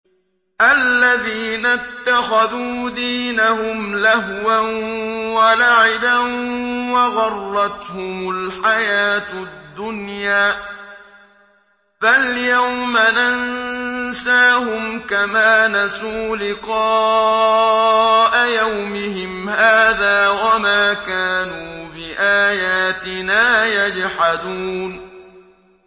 الَّذِينَ اتَّخَذُوا دِينَهُمْ لَهْوًا وَلَعِبًا وَغَرَّتْهُمُ الْحَيَاةُ الدُّنْيَا ۚ فَالْيَوْمَ نَنسَاهُمْ كَمَا نَسُوا لِقَاءَ يَوْمِهِمْ هَٰذَا وَمَا كَانُوا بِآيَاتِنَا يَجْحَدُونَ